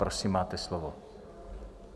Prosím, máte slovo.